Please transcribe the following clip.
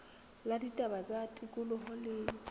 la ditaba tsa tikoloho le